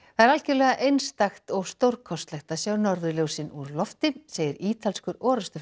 það er algjörlega einstakt og stórkostlegt að sjá norðurljósin úr lofti segir ítalskur